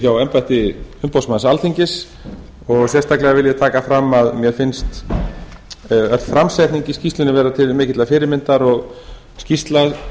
hjá embætti umboðsmanns alþingis og sérstaklega vil ég taka fram að mér finnst öll framsetning í skýrslunni vera til mikillar fyrirmyndar og skýrsla